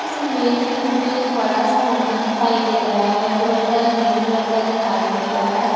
इस इमेज में मुझे एक बड़ा सा नदी दिखाई दे रहा है जो हल्का ग्रीन कलर का दिखाई दे रहा है।